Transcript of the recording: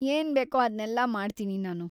ಏನ್ ಬೇಕೋ ಅದ್ನೆಲ್ಲ ಮಾಡ್ತೀನಿ ನಾನು.